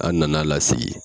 An na na lasigi.